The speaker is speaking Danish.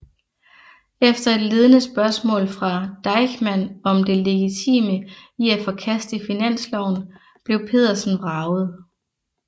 Efter et ledende spørgsmål fra Deichmann om det legitime i at forkaste finansloven blev Pedersen vraget